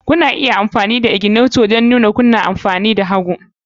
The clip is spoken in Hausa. Kuna iya amfani da ignitor don nuna kuna tafiya hagu